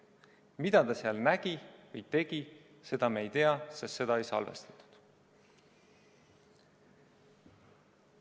Mida ta seal nägi või tegi, seda me ei tea, sest seda ei salvestatud.